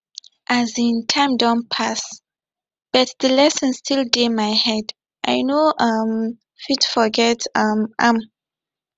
um time don pass but the lesson still dey my head i no um fit forget um am